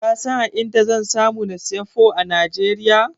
Ka san a inda zan samu na siyi Pho a Najeriya?